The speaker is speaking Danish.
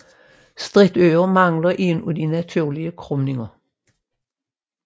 Stritøret mangler en af de naturlige krumninger